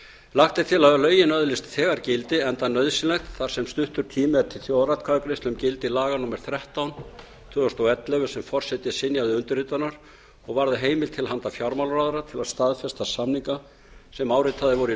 lagt er til að lögin öðlist þegar gildi enda nauðsynlegt þar sem stuttur tími er til þjóðaratkvæðagreiðslu um gildi laga númer þrettán tvö þúsund og ellefu sem forseti synjaði undirritunar og varða heimild til handa fjármálaráðherra til að staðfesta samninga sem áritaðir voru í